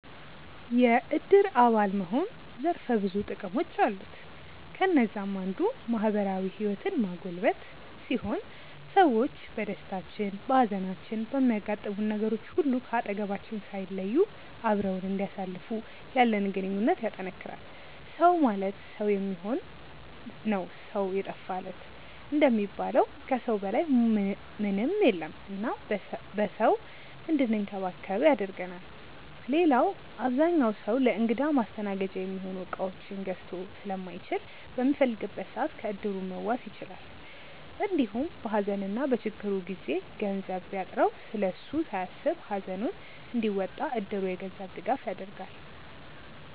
የዕድር አባል መሆን ዘርፈ ብዙ ጥቅሞች አሉት። ከነዛም አንዱ ማህበራዊ ህይወትን ማጎልበት ሲሆን ሰዎች በደስታችን፣ በሃዘናችን፣ በሚያጋጥሙን ነገሮች ሁሉ ከአጠገባችን ሳይለዩ አብረውን እንዲያሳልፉ ያለንን ግንኙነት ያጠነክራል። “ሰው ማለት ሰው የሚሆን ነው ሰው የጠፋ ለት” እንደሚባለው ከሰው በላይ ምንም የለም እና በሰው እንድንከበብ ያደርገናል። ሌላው አብዛኛው ሰው ለእንግዳ ማስተናገጃ የሚሆኑ እቃዎችን ገዝቶ ስለማይችል በሚፈልግበት ሰዓት ከዕድሩ መዋስ ይችላል። እንዲሁም በሃዘንና በችግሩ ጊዜ ገንዘብ ቢያጥረው ስለሱ ሳያስብ ሃዘኑን እንዲወጣ እድሩ የገንዘብ ድጋፍ ያደርጋል።